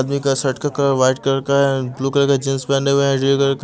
आदमी का शर्ट का वाइट कलर का है ब्लू कलर का जींस पेहने हुए है रेड कलर का --